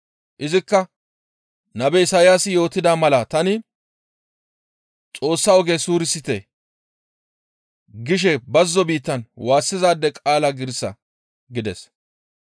Izikka, «Nabe Isayaasi yootida mala tani, ‹Xoossa oge suurisite› gishe bazzo biittan waassizaade qaala giirissa» gides.